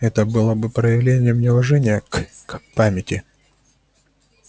это было бы проявлением неуважения к к памяти